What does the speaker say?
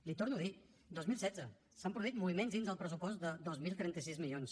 l’hi torno a dir dos mil setze s’han produït moviments dins del pressupost de dos mil trenta sis milions